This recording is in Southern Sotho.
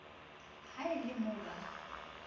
ha e le mo ba